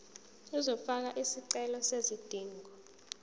uzofaka isicelo sezidingo